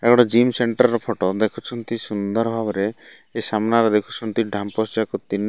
ଏଇଟା ଗୋଟେ gym centre ର ଫୋଟୋ ଦେଖୁଛନ୍ତି ସୁନ୍ଦର ଭାବରେ ଏଇ ସାମ୍ନାରେ ଦେଖୁଛନ୍ତି ତିନି --